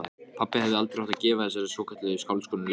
Pabbi hefði aldrei átt að gefa þessari svokölluðu skáldkonu leyfið.